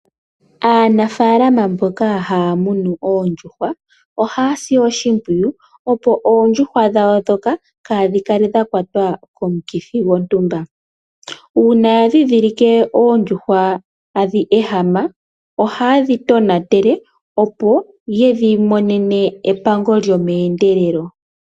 Aanafalama mboka haya munu oondjihwa ohaya si oshimpwiyu opo oondjuhwa dhawo ndhoka kaadhi kale dha kwatwa komithi dhontumba, uuna ya ndhindhilike oondjuhwa tadhi ehama ohayedhi tonatele, opo yedhi monene epango lyomeendelelo.